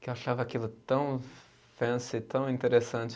que eu achava aquilo tão fancy, tão interessante.